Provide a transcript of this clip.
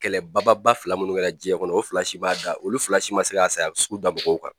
Kɛlɛ bababa fila minnu kɛra diɲɛ kɔnɔ o fila si m'a da olu fila si ma se ka a saya sugu da mɔgɔw kan.